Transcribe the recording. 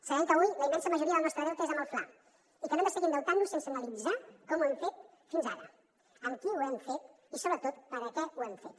sabem que avui la immensa majoria del nostre deute és amb el fla i que no hem de seguir endeutant nos sense analitzar com ho hem fet fins ara amb qui ho hem fet i sobretot per a què ho hem fet